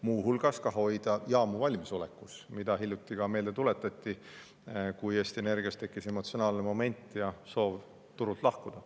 Muu hulgas tuleb ka hoida jaamu valmisolekus, mida hiljuti ka meelde tuletati, kui Eesti Energias tekkis emotsionaalne moment ja soov turult lahkuda.